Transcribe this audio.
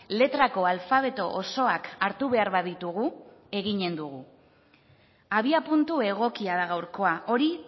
letrako alfabeto osoak hartu behar baditugu eginen dugu abiapuntu egokia da gaurkoa hori